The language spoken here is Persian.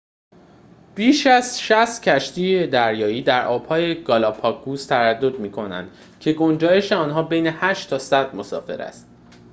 بیش از ۶۰ کشتی دریایی در آبهای گالاپاگوس تردد می‌کنند که گنجایش آنها بین ۸ تا ۱۰۰ مسافر است